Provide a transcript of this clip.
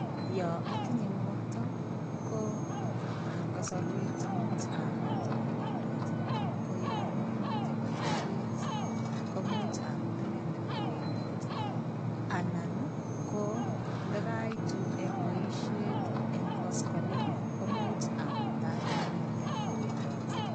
Yo atinye ngokto, ko kasarwek chemuch amut kowendot ii, ko yo momite boisiet komuch amut inendet kowendot, anan ii, ko ndakaitu eng boisiet eng koskoleng ii, komuch amutat inendet kowendot.